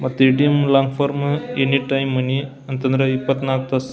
ಮತ್ತ ATM long form any time money ಅಂತಂದ್ರ ಇಪ್ಪತ್ನಾಲ್ಕು ತಾಸು --